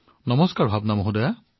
নমস্কাৰ ভাৱনা জী